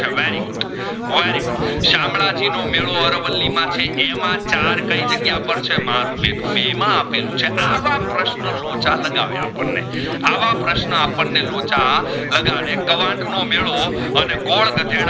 ચંદજી નો મેદો અરવલી માં છે જેમાં ચાર કઈ જાગીય પર છે મરૂ નેતું બેવ માં અપલું છે આવા પ્રશ્ન લોચા લગાવે આપણે આવા પ્રશ્ન આપણે લોચા લગાવે કવાંટ નો મેદો અને ગોદઘાધેડા